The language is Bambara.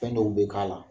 Fɛn dɔw be k'a la